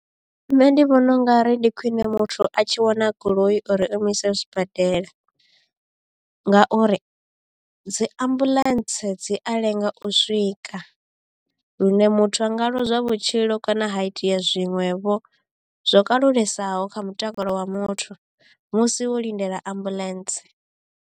Nṋe ndi vhona ungari ndi khwiṋe muthu a tshi wana goloi uri imuise sibadela ngauri dzi ambuḽentse dzi a lenga u swika ka lune muthu a nga lozwa vhutshilo kana ha itea zwiṅwevho zwo kalulesaho kha mutakalo wa muthu musi wo lindela ambuḽentse.